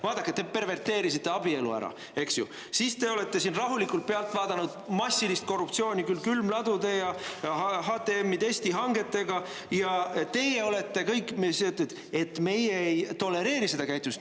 Vaadake, te perverteerisite abielu ära, eks ju, siis te olete siin rahulikult pealt vaadanud massilist korruptsiooni küll külmladude ja HTM‑i testihangetega, ja siis ütlete, et te ei tolereeri seda käitumist.